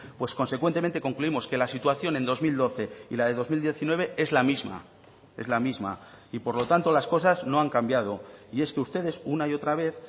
pues consecuentemente concluimos que la situación en dos mil doce y la de dos mil diecinueve es la misma es la misma y por lo tanto las cosas no han cambiado y es que ustedes una y otra vez